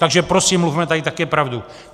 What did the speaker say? Takže prosím, mluvme tady také pravdu.